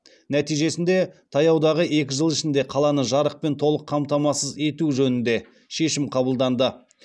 нәтижесінде таяудағы екі жыл ішінде қаланы жарықпен толық қамтамасыхз ету жөнінде шешім қабылданды